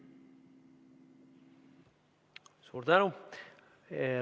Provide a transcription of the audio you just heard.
Suur tänu!